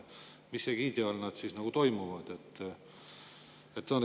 Mis egiidi all need siis toimuvad?